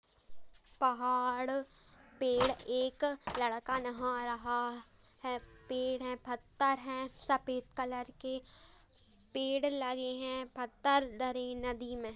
पहाड़ पेड़ एक लड़का नहा रहा है पेड़ हैं पत्थर हैं सफेद कलर के पेड़ लगे हैं पत्थर नदी में।